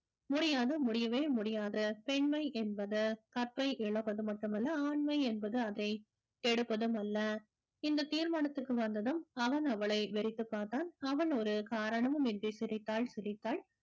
முடியாது முடியவே முடியாது பெண்மை என்பது கற்பை இழப்பது மட்டுமல்ல ஆண்மை என்பது அதை கெடுப்பதும் அல்ல இந்த தீர்மானத்துக்கு வந்ததும் அவன் அவளை வெறித்துப் பார்த்தான் அவன் ஒரு காரணமும் இன்றி சிரித்தாள் சிரித்தாள்